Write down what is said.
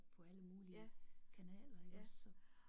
På alle mulige kanaler iggås så